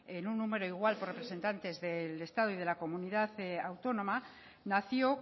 en un número igual por representantes del estado y de la comunidad autónoma nació